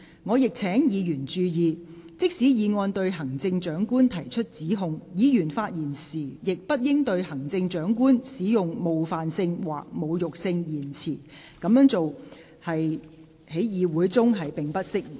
我亦請議員注意，即使議案對行政長官提出指控，議員發言時亦不應對行政長官使用冒犯性或侮辱性言詞，這樣做在議會中並不適宜。